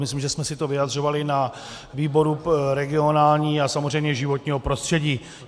Myslím, že jsme si to vyjadřovali na výboru regionálním a samozřejmě životního prostředí.